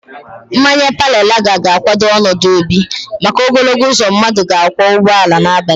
Mmanya pale laga ga-kwado ọnọdụ obi maka ogologo uzo mmadụ ga-akwọ ụgbọala n'abalị.